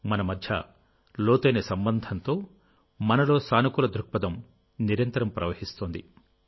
మన మధ్య లోతైన సంబంధంతో మనలో సానుకూల దృక్పథం నిరంతరం ప్రవహిస్తోంది